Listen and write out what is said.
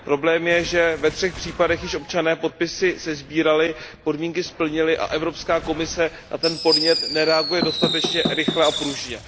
Problém je, že ve třech případech již občané podpisy sesbírali, podmínky splnili a že Evropská komise na ten podnět nereaguje dostatečně rychle a pružně.